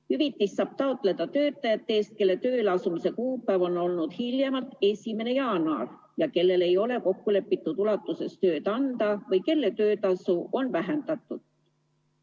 Hüvitist saab taotleda töötajate eest, kelle tööle asumise kuupäev on olnud hiljemalt 1. jaanuar ja kellele ei ole kokkulepitud ulatuses tööd anda või kelle töötasu on vähendatud.